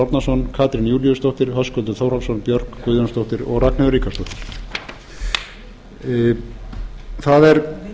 árnason katrín júlíusdóttir höskuldur þórhallsson björk guðjónsdóttir og ragnheiður ríkharðsdóttir það er